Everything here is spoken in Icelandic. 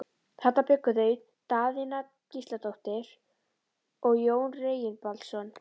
Þarna bjuggu þau Daðína Gísladóttir og Jón Reginbaldsson.